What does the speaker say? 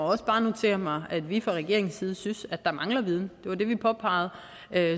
også bare notere mig at vi fra regeringens side synes at der mangler viden det var det vi påpegede